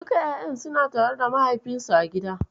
Duka ƴaƴan suna tare da mahaifinsu a gida.